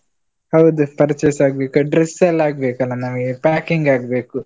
ಹೌದು, purchase ಆಗ್ಬೇಕು, dress ಎಲ್ಲ ಆಗ್ಬೇಕಲ್ಲ ನಮಗೆ, packing ಆಗ್ಬೇಕು.